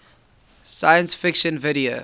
science fiction video